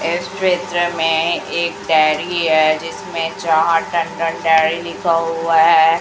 इस पिक्चर में एक डायरी है जिसमें चार्ट एंड द डायरी लिखा हुआ है।